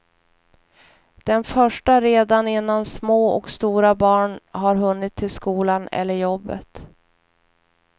Den första redan innan små och stora barn har hunnit till skolan eller jobbet.